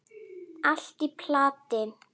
Allt í plati.